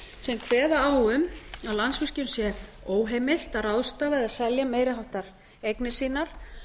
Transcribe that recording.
sem kveða á um að landsvirkjun sé óheimilt að ráðstafa eða selja meiri háttar eignir sínar